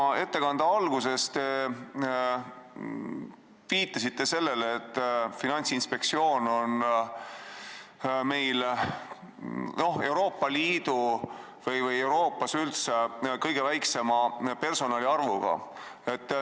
Oma ettekande alguses te viitasite sellele, et Eesti Finantsinspektsioon on Euroopa Liidus või Euroopas üldse kõige väiksema personali arvuga.